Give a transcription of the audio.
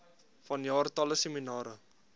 vanjaar talle seminare